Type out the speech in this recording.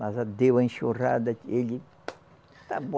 Mas a deu a enxurrada, ele tá bo